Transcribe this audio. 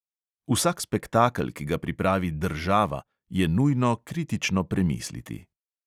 Vsak spektakel, ki ga pripravi država, je nujno kritično premisliti.